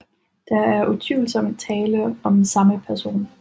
Der er utvivlsomt tale om samme person